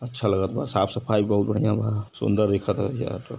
अच्छा लगत बा। साफ़-सफाई बहुत बढ़ियां बा। सुन्दर दिखत ह ।